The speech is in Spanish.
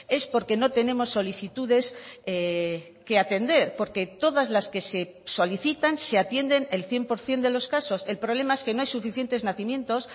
es porque no tenemos solicitudes que atender porque todas las que se solicitan se atienden el cien por ciento de los casos el problema es que no hay suficientes nacimientos